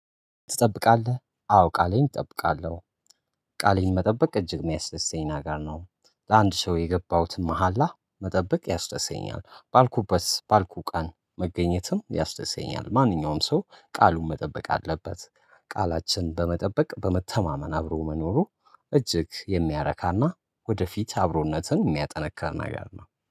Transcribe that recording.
ትጠብቃለህ አዎ ቃሌን እጠብቃለሁ። ቃሌን መጠበቅ እጅግ የሚያስደስተኝ ነገር ነው ለአንድ ሰው የገባሁትን መሃላ መጠበቅ ያስደስተኛል ባልኩበት ባልኩ ቀን መገኘትም ያስደስተኛል። ማንኛውም ሰው ቃሉን መጠበቅ አለበት። ቃላችንን በመጠበቅ በመተማመን አብሮ መኖሩ እጅግ የሚያረካና ወደፊት አብሮነትን የሚያጠነክር ነገር ነው